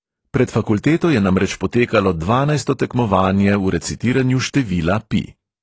Pred fakulteto je namreč potekalo dvanajsto tekmovanje v recitiranju števila pi.